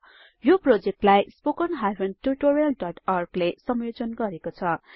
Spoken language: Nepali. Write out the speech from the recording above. यो प्रोजेक्टलाई httpspoken tutorialorg ले संयोजन गरेको छ